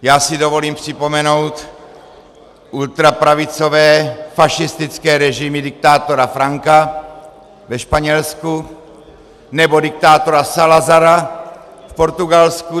Já si dovolím připomenout ultrapravicové fašistické režimy diktátora Franka ve Španělsku nebo diktátora Salazara v Portugalsku.